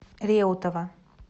реутова